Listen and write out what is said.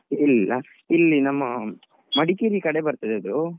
ಇಲ್ಲಲಾ ಇಲ್ಲಿ ನಮ್ಮಾ Madikeri ಕಡೆ ಬರ್ತದೆ ಅದು.